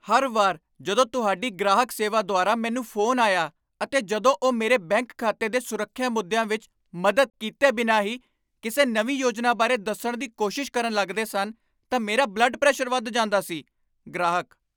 ਹਰ ਵਾਰ ਜਦੋਂ ਤੁਹਾਡੀ ਗ੍ਰਾਹਕ ਸੇਵਾ ਦੁਆਰਾ ਮੈਨੂੰ ਫੋਨ ਆਇਆ ਅਤੇ ਜਦੋਂ ਉਹ ਮੇਰੇ ਬੈਂਕ ਖਾਤੇ ਦੇ ਸੁਰੱਖਿਆ ਮੁੱਦੀਆਂ ਵਿੱਚ ਮਦਦ ਕੀਤੇ ਬਿਨਾਂ ਹੀ ਕਿਸੇ ਨਵੀਂ ਯੋਜਨਾ ਬਾਰੇ ਦੱਸਣ ਦੀ ਕੋਸ਼ਿਸ਼ ਕਰਨ ਲੱਗਦੇ ਸਨ, ਤਾਂ ਮੇਰਾ ਬਲੱਡ ਪ੍ਰੈਸ਼ਰ ਵੱਧ ਜਾਂਦਾ ਸੀ ਗ੍ਰਾਹਕ